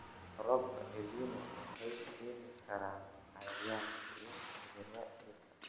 Roobabka El Niño waxay keeni karaan cayayaanka iyo cudurrada dhirta.